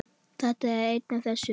Þetta er ein af þess